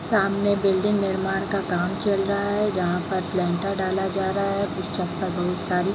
सामने बिल्डिंग निर्माण का काम चल रहा है जहाँ पर डाला जा रहा है बहुत सारी |